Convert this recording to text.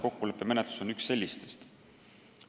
Kokkuleppemenetlus on üks neid mehhanisme.